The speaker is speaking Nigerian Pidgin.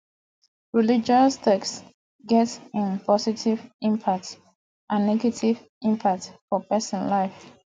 religious text get im positive impact and negative impact for persin life